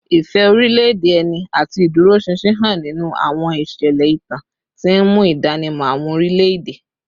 Ìfẹ́ orílẹ̀-èdè ẹni àti ìdúróṣinṣin hàn nínú àwọn ìṣẹ̀lẹ̀ ìtàn, tí ń mú ìdánimọ̀ àwọn orílẹ̀-èdè